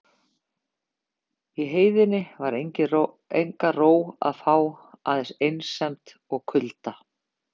Í heiðinni var enga ró að fá aðeins einsemd og kulda.